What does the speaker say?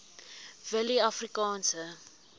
willieafrikaanse